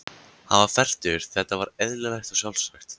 Hann var fertugur, þetta var eðlilegt og sjálfsagt.